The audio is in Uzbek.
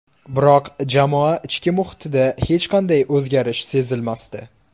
Biroq jamoa ichki muhitida hech qanday o‘zgarish sezilmasdi.